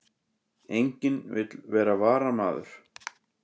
Enginn vill vera varamaður